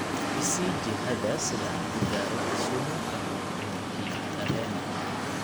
i sii jihada sida aan ku gaaro kisumu ka hor duhurkii tareen